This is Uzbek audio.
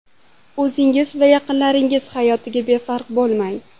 O‘zingiz va yaqinlaringiz hayotiga befarq bo‘lmang.